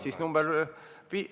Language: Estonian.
Siis viiendat punkti.